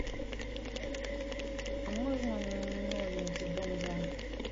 а можно новенький дом два